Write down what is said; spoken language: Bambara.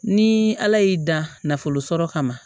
Ni ala y'i dan nafolo sɔrɔ kama